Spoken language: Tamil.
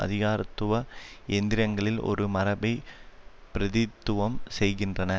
அதிகாரத்துவ எந்திரங்களில் ஒரு மரபைப் பிர தித்துவம் செய்கின்றன